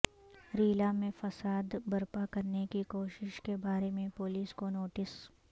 ریلا میں فساد برپا کرنے کی کوشش کے بارے میں پولیس کو نوٹس